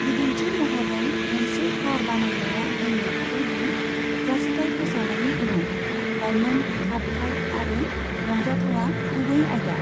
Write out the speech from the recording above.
बिदिन्थि महरै, मोनसे कार बानायग्राया बुंनो हागौ दि जासिथाइ फोसावनायनि उनाव लाइमोन, खारथाइ आरो रंजाथावा गुबै आयदा।